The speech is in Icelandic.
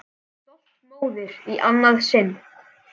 Stolt móðir í annað sinn.